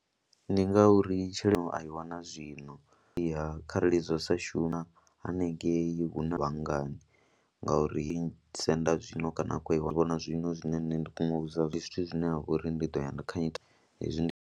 Ndi ngauri tshelede a i wana zwino, ya kharali zwa sa shuma haningei hu na vhangani ngauri senda zwino kana a khou i vhona zwino zwine nṋe nda kona u vhudza zwithu zwine ha vha uri ndi ḓo ya na kha hezwi ndi.